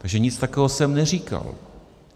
Takže nic takového jsem neříkal.